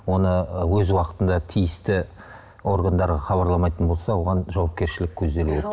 оны ы өз уақытында тиісті органдарға хабарламайтын болса оған жауапкершілік көзделіп отыр